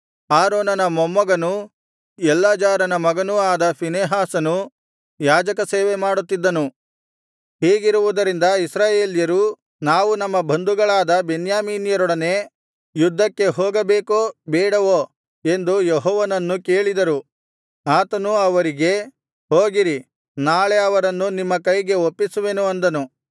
ಆರೋನನ ಮೊಮ್ಮಗನೂ ಎಲ್ಲಾಜಾರನ ಮಗನೂ ಆದ ಫೀನೆಹಾಸನು ಯಾಜಕಸೇವೆಮಾಡುತ್ತಿದ್ದನು ಹೀಗಿರುವುದರಿಂದ ಇಸ್ರಾಯೇಲ್ಯರು ನಾವು ನಮ್ಮ ಬಂಧುಗಳಾದ ಬೆನ್ಯಾಮೀನ್ಯರೊಡನೆ ಯುದ್ಧಕ್ಕೆ ಹೋಗಬೇಕೋ ಬೇಡವೋ ಎಂದು ಯೆಹೋವನನ್ನು ಕೇಳಿದರು ಆತನು ಅವರಿಗೆ ಹೋಗಿರಿ ನಾಳೆ ಅವರನ್ನು ನಿಮ್ಮ ಕೈಗೆ ಒಪ್ಪಿಸುವೆನು ಅಂದನು